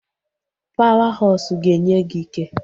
Pawa hosụ ga-enye gị ike